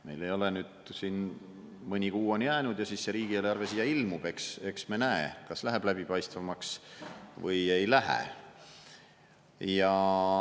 Meil siin mõni kuu on jäänud ja siis see riigieelarve siia ilmub, eks me näe, kas läheb läbipaistvamaks või ei lähe.